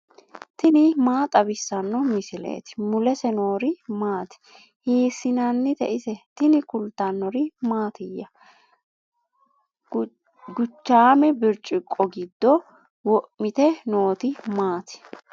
tini maa xawissanno misileeti ? mulese noori maati ? hiissinannite ise ? tini kultannori mattiya? Guchaamme biricciqo giddo wo'mitte nootti maati?